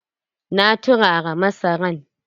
Na turara masaran.